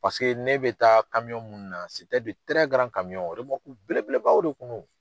Paseke ne bɛ taa minnu na belebelebaw de kun no.